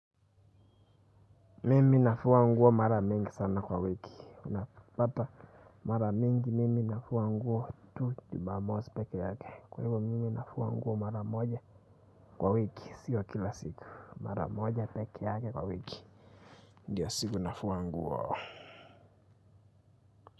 Mimi nafua nguo mara mingi sana kwa wiki unapata mara mingi, mimi nafua nguo tu Jumamosi peke yake kwa hivyo, mimi nafua nguo mara moja kwa wiki sio kila siku, mara moja peke yake kwa wiki ndiyo siku nafua nguo.